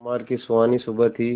सोमवार की सुहानी सुबह थी